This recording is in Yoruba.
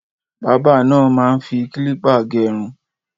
Bábà náà máa ń fi kílípà gẹrun.